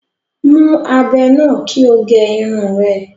Mú ábẹ́ náà kí o gẹ Irun rẹ